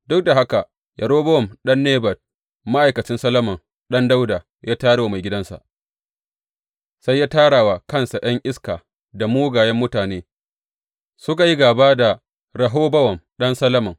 Duk da haka Yerobowam ɗan Nebat, ma’aikacin Solomon ɗan Dawuda, ya tayar wa maigidansa, sai ya tara wa kansa ’yan iska da mugayen mutane suka yi gāba da Rehobowam ɗan Solomon.